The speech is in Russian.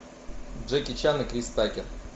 джеки чан и крис такер